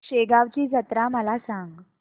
शेगांवची जत्रा मला सांग